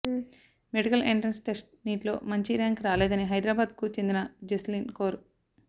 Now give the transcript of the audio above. medical entrance test NEET లో మంచి rank రాలేదని హైదరాబాద్ కు చెందిన జస్లీన్ కౌర్